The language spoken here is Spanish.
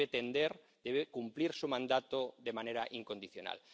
debe tender, debe cumplir su mandato, de manera incondicional.